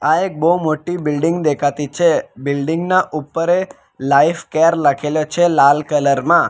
આ એક બહુ મોટી બિલ્ડીંગ દેખાતી છે બિલ્ડીંગ ના ઉપર એ લાઈફ કેર લખેલો છે લાલ કલર માં.